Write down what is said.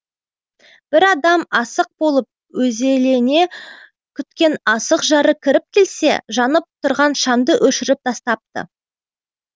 бір адам асық болып өзелене күткен асық жары кіріп келсе жанып тұрған шамды өшіріп тастапты